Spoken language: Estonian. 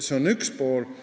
See on üks pool.